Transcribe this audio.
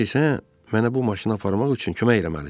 İndi sən mənə bu maşını aparmaq üçün kömək eləməlisən.